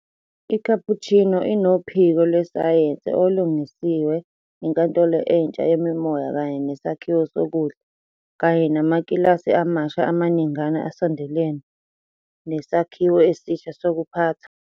ICapuchino inophiko lwesayensi olulungisiwe, inkantolo entsha yemimoya kanye nesakhiwo sokudla, kanye namakilasi amasha amaningana asondelene nesakhiwo esisha sokuphatha.